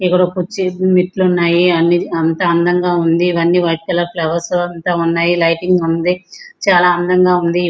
ఇక్కడ కొచ్చి మెట్లు ఉన్నాయి అంతా అందంగా ఉంది ఇవన్నీ వైట్ కలర్ ఫ్లవర్స్ అంతా ఉన్నాయి లైటింగ్ ఉంది చాలా అందంగా ఉంది.